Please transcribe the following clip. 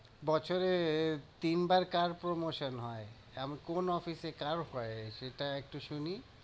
বছরে তিনবার কার promotion হয়? এমন কোন office এ কার হয়? সেটা একটু শুনি।